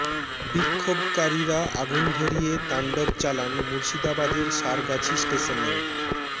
বিক্ষোভকারীরা আগুন ধরিয়ে তাণ্ডব চালান মুর্শিদাবাদের সারগাছি স্টেশনেও